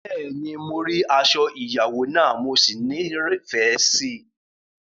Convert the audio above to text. Bẹ́ẹ̀ni, mo rí aṣọ ìyàwó náà, mo sì nífẹ̀ẹ́ rẹ̀.